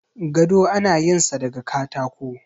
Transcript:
gado ana yin sa daga katako